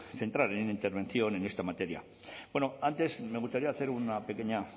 centrar en la intervención en esta materia antes me gustaría hacer una pequeña